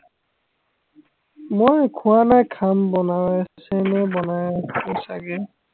মই খোৱা নাই খাম বনাওয়ে, same এই বনাওয়ে চাগে